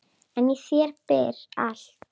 En í þér býr allt.